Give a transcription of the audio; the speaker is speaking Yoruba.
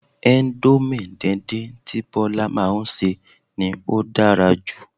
Índómì díndín tí Bola máa ń ṣe ni ó dára jj